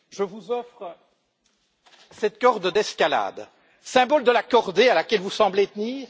Je vous offre cette corde d'escalade, symbole de la cordée à laquelle vous semblez tenir.